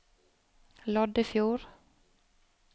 Loddefjord